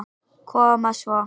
Koma svo.